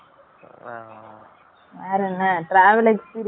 வேரென்ன travel experience எல்லாம் எபடி இருந்துச்சு sir க்கு